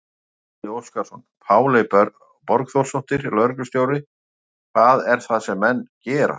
Gísli Óskarsson: Páley Borgþórsdóttir, lögreglustjóri, hvað er það sem menn gera?